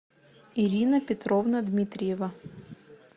ирина петровна дмитриева